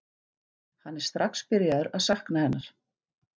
Hann er strax byrjaður að sakna hennar.